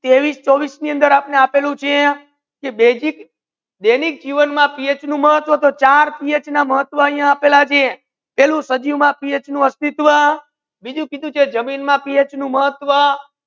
ત્રેવીસ ચોવીસ ની અંદર આપેલુ છે કે બેઝિક દૈનિક જીવન મા પીએચ નુ મહાત્વા ચાર પીએચ ના મહાતવ આપેલા છે પહેલું સજીવના અસ્તિત્વમાં બીજુ જમીનમાં પીએચનું મહત્ત્વ